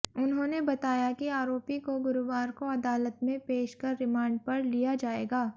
उन्होंने बताया कि आरोपी को गुरुवार को अदालत में पेश कर रिमांड पर लिया जाएगा